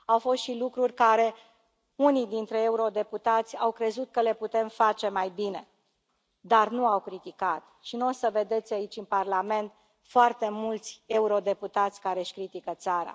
Au fost și lucruri pe care unii dintre eurodeputați au crezut că le putem face mai bine, dar nu au criticat și n o să vedeți aici, în Parlament, foarte mulți eurodeputați care își critică țara.